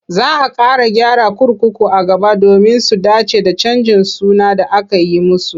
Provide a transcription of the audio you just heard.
Za a ƙara gyara kurkuku a gaba domin su dace da canjin suna da aka yi musu.